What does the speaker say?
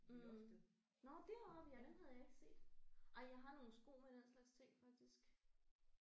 Mh nåh deroppe ja dem havde jeg ikke set. Ej jeg har nogle sko med den slags ting faktisk